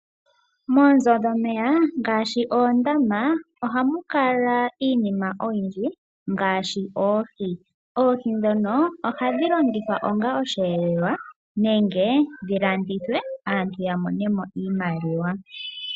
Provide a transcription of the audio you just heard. Moonzo dhomeya ngaashi oondama ohamu kala iinima oyindji ngaashi oohi. Oohi ndhono ohadhi longithwa onga osheelelwa nenge dhi landithwe aantu ya mone mo iimaliwa.